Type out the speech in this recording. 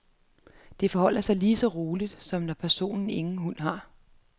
Det forholder sig lige så roligt, som når personen ingen hund har med.